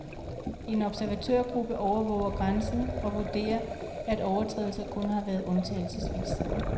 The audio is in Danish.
En observatørgruppe overvåger grænsen og vurderer, at overtrædelser kun har været undtagelsesvis.